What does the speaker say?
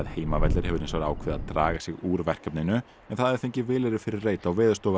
Heimavellir hefur hins vegar ákveðið að draga sig úr verkefninu en það hafði fengið vilyrði fyrir reit á